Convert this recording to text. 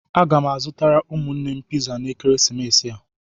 Aga m azụtara ụmụnne m piza na ekeresimesi a.